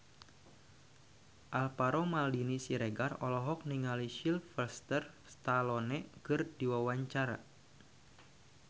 Alvaro Maldini Siregar olohok ningali Sylvester Stallone keur diwawancara